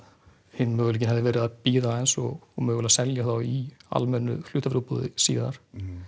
hinn möguleikinn hefði verið að bíða aðeins og mögulega selja þá í almennu hlutafjárútboði síðar